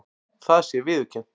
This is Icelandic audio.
Það sé viðurkennt